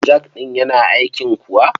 Jak ɗin yana aiki kuwa?